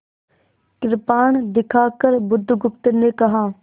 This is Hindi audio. कृपाण दिखाकर बुधगुप्त ने कहा